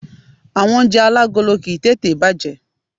Àwon oúnje alágolo kìí tètè bàjé